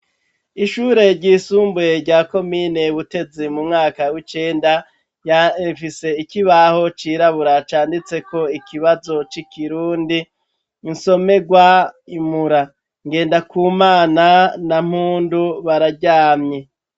Ishure ryisumbuye rya komine butezi mu mwaka w'icenda rifise ikibaho cirabura canditseko ikibazo c'ikirundi insomerwa, imura ngendakumana na mpundu bararyamye.